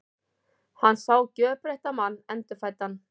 Hann sá gjörbreyttan mann, endurfæddan.